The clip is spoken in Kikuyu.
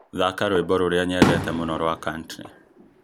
thaaka rwĩmbo rũrĩa nyendete mũno wa country